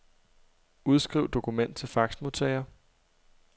Udskriv dokument til faxmodtager.